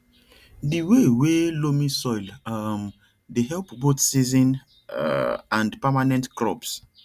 the way wey loamy soil um dey help both season um and permanent crops